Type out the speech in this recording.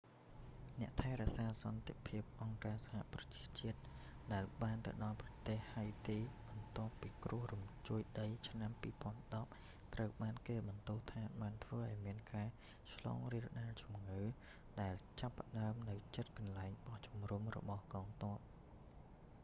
អ្នកថែរក្សាសន្តិភាពអង្គការសហប្រជាជាតិដែលបានទៅដល់ប្រទេសហៃទី បន្ទាប់គ្រោះរញ្ជួយដីឆ្នាំ 2010 ត្រូវបានគេបន្ទោសថាបានធ្វើឱ្យមានការឆ្លងរាលដាលជំងឺ ដែលចាបផ្តើមនៅជិតកន្លែងបោះជំរំរបស់កងទ័ព